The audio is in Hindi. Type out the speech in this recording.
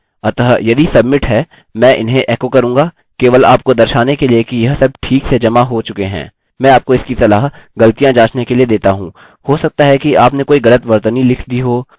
अतः यदि submit है मैं इन्हें एको करूँगा केवल आपको दर्शाने के लिए कि यह सब ठीक से जमा हो चुके हैं